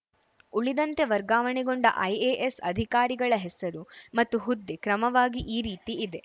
ಉಳಿದಂತೆ ವರ್ಗಾವಣೆಗೊಂಡ ಐಎಎಸ್‌ ಅಧಿಕಾರಿಗಳ ಹೆಸರು ಮತ್ತು ಹುದ್ದೆ ಕ್ರಮವಾಗಿ ಈ ರೀತಿ ಇದೆ